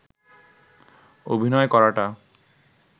অভিনয় করাটা